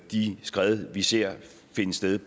de skred vi ser finde sted